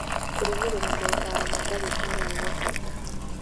kũrũmĩrĩra motaaro ma ndagĩtarĩ nĩ gwa bata